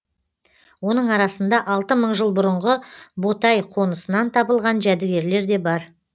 оның арасында алты мың жыл бұрынғы ботай қонысынан табылған жәдігерлер де бар